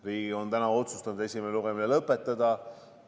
Riigikogu on otsustanud esimese lugemise lõpetada.